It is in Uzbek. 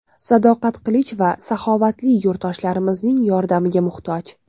Sadoqat Qilichova saxovatli yurtdoshlarimizning yordamiga muhtoj.